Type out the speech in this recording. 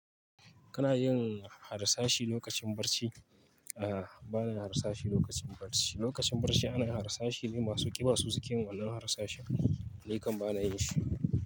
Kana yin harsashi lokacin barci? A'a, ba na yin harsashi lokacin barci. Lokacin barci ana yin harsashi ne masu ƙiba sosokin wannan harsashin. Ni kam ba na yin shi.